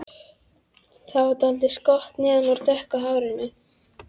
Það er dálítið skott neðan úr dökku hárinu.